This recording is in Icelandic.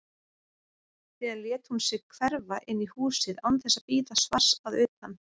Síðan lét hún sig hverfa inn í húsið án þess að bíða svars að utan.